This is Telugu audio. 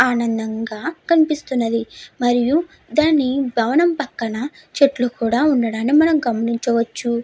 ఆనందంగా కనిపిస్తున్నది మరియు దాని భవనం పక్కన చెట్లు కూడా ఉండడం మనం గమనించవచ్చు.